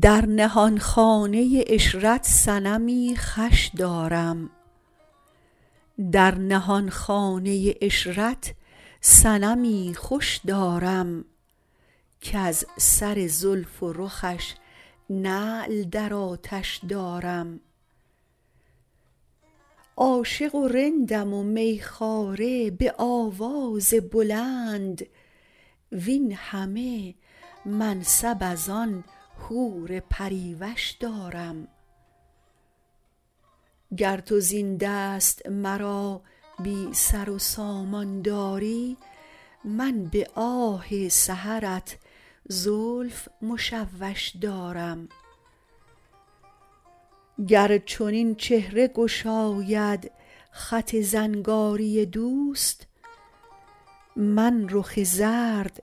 در نهانخانه عشرت صنمی خوش دارم کز سر زلف و رخش نعل در آتش دارم عاشق و رندم و می خواره به آواز بلند وین همه منصب از آن حور پری وش دارم گر تو زین دست مرا بی سر و سامان داری من به آه سحرت زلف مشوش دارم گر چنین چهره گشاید خط زنگاری دوست من رخ زرد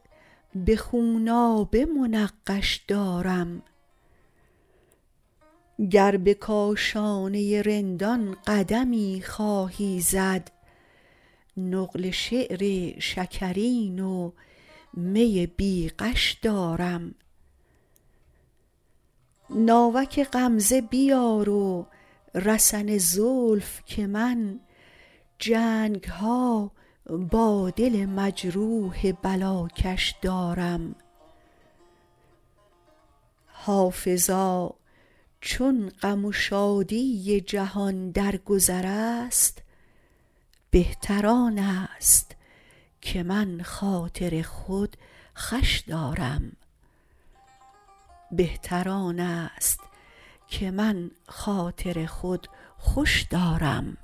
به خونابه منقش دارم گر به کاشانه رندان قدمی خواهی زد نقل شعر شکرین و می بی غش دارم ناوک غمزه بیار و رسن زلف که من جنگ ها با دل مجروح بلاکش دارم حافظا چون غم و شادی جهان در گذر است بهتر آن است که من خاطر خود خوش دارم